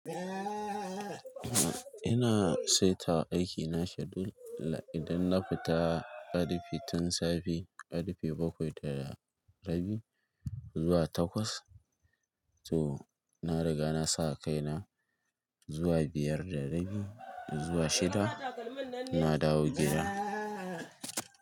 Ina saita aikina schedule idan na fita karfe tun safe karfe bakwai da rabi zuwa takwas. To na riga na sa kaina zuwa biyar da rabi zuwa shida na dawo gida.